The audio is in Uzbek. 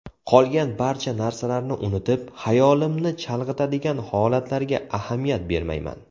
Qolgan barcha narsalarni unutib, xayolimni chalg‘itadigan holatlarga ahamiyat bermayman.